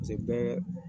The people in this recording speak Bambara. bɛɛ